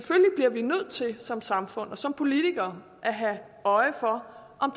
som samfund og som politikere at have øje for om